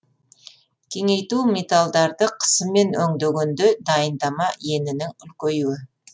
кеңейту металдарды қысыммен өндегенде дайындама енінің үлкеюі